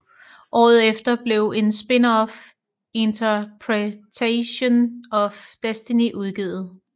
Året efter blev et spinoff Interpretations of Destiny udgivet